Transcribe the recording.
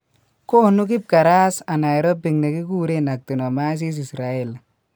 Koonu kibkaras anaerobic ne kikuren actinomyces israeli